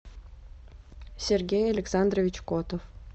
сергей александрович котов